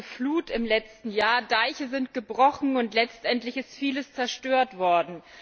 Die große Flut im letzten Jahr Deiche sind gebrochen, und letztendlich ist vieles zerstört worden.